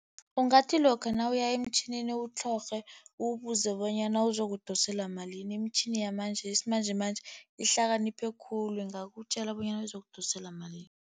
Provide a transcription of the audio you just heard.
Ungathi lokha nawuya emtjhinini, uwutlhorhe, uwubuze bonyana uzokudoselwa malini. Imitjhini yesimanjemanje ihlakaniphe khulu, ingakutjela bonyana izokudosela malini.